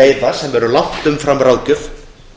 veiða sem eru langt umfram ráðgjöf